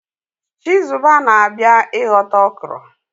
Chizuba na-abia ihota okra.